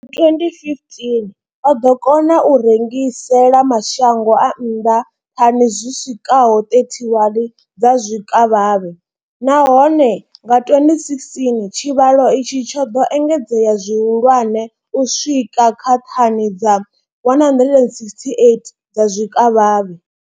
Nga 2015, o ḓo kona u rengisela mashango a nnḓa thani dzi swikaho 31 dza zwikavhavhe, nahone nga 2016 tshivhalo itshi tsho ḓo engedzea zwihulwane u swika kha thani dza 168 dza zwikavhavhe.